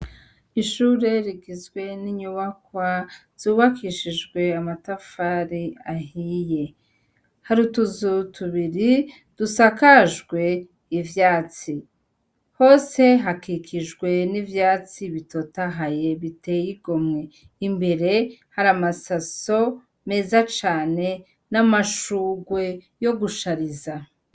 Ishure rigizwe n’inyubakwa zubakishijwe amatafari ahiye hari utuzu tubiri dusakajwe ivyatsi hose hakikijwe n’ivyatsi bitotahaye biteye igomwe imbere hari amasaso meza cane n’amashurwe yo gushariza